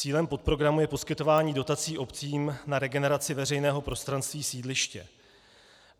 Cílem podprogramu je poskytování dotací obcím na regeneraci veřejného prostranství sídliště.